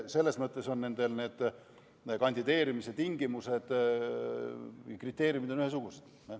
Selles mõttes on nendel kandideerimise tingimused ja kriteeriumid ühesugused.